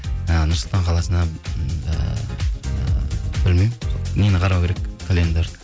і нұр сұлтан қаласына м ііі білмеймін сол нені қарау керек календарь